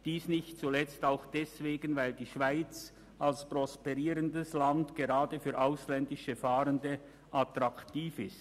Dies nicht zuletzt auch deswegen, weil die Schweiz als prosperierendes Land gerade für ausländische Fahrende attraktiv ist.